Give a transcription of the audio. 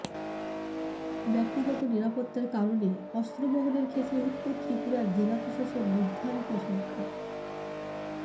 ব্যক্তিগত নিরাপত্তার কারণে অস্ত্র বহনের ক্ষেত্রে উত্তর ত্রিপুরার জেলা প্রশাসন নির্ধারিত সংখ্যার